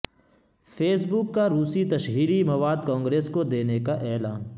face بک کا روسی تشہیری مواد کانگریس کو دینے کا اعلان